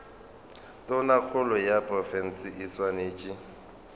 tonakgolo ya profense e swanetše